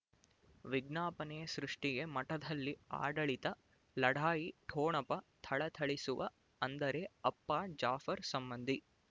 ವಿಜ್ಞಾಪನೆ ಸೃಷ್ಟಿಗೆ ಮಠದಲ್ಲಿ ಆಡಳಿತ ಲಢಾಯಿ ಠೊಣಪ ಥಳಥಳಿಸುವ ಅಂದರೆ ಅಪ್ಪ ಜಾಫರ್ ಸಂಬಂಧಿ